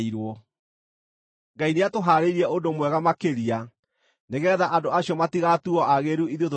Ngai nĩatũhaarĩirie ũndũ mwega makĩria nĩgeetha andũ acio matigatuuo aagĩrĩru ithuĩ tũtarĩ hamwe nao.